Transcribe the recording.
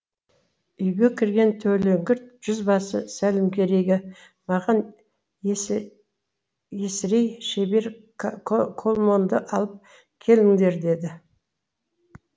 үйге кірген төлеңгіт жүзбасы сәлімгерейге маған есірей шебер колмонды алып келіндер деді